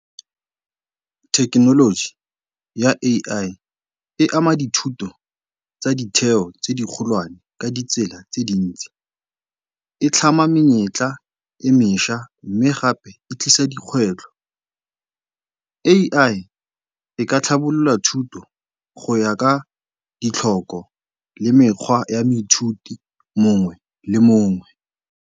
Thekenoloji ya AI e ama dithuto tsa ditheo tse dikgolwane ka ditsela tse dintsi. E tlhama menyetla e mešwa mme gape e tlisa dikgwetlho. AI e ka tlhabolola thuto go ya ka ditlhoko le mekgwa ya moithuti mongwe le mongwe.